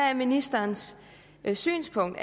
er ministerens synspunkt